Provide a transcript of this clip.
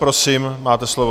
Prosím, máte slovo.